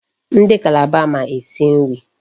Ndị Calabar ma esi nri.